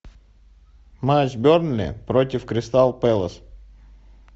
матч бернли против кристал пэлас